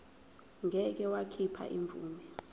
ngeke wakhipha imvume